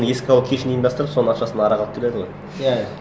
еске алу кешін ұйымдастырып соның ақшасына арақ алып келеді ғой иә иә